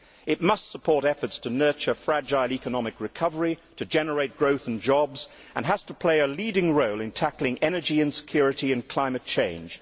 It must support efforts to nurture fragile economic recovery and to generate growth and jobs, and has to play a leading role in tackling energy security and climate change.